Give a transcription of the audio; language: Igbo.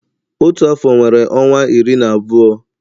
Otu afọ nwere ọnwa iri na abụọ